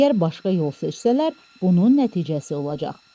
Əgər başqa yol seçsələr, bunun nəticəsi olacaq.